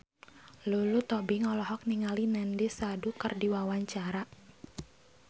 Lulu Tobing olohok ningali Nandish Sandhu keur diwawancara